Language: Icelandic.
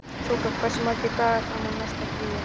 Þoka, hversu margir dagar fram að næsta fríi?